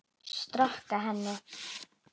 Storka henni.